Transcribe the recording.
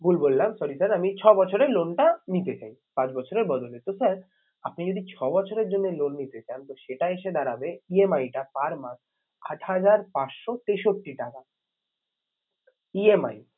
ভুল বললাম sorry sir আমি ছবছরে loan টা নিতে চাই পাঁচ বছরের বদলে। তো sir আপনি যদি ছবছরের জন্য loan টা নিতে চান তো সেটা এসে দাঁড়াবে EMI টা per month আট হাজার পাঁচশো তেষট্টি টাকা EMI